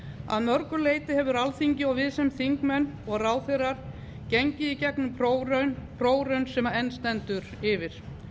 að mörgu leyti hefur alþingi og við sem þingmenn og ráðherrar gengið í gegnum prófraun prófraun sem enn stendur yfir